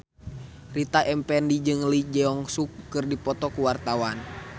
Rita Effendy jeung Lee Jeong Suk keur dipoto ku wartawan